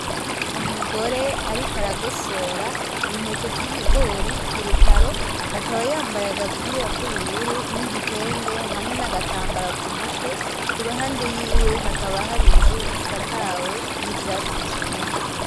Umugore ariko aragosora intete z'ibigori kurutaro akaba yambaye agapira kubururu n'igitenge hamwe n'agatambara ku mutwe kuruhande yiwe hakaba hari inzu isakawe n'ivyatsi vyumye.